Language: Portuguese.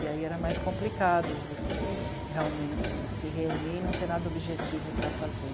E aí era mais complicado você realmente se reunir e não ter nada objetivo para fazer.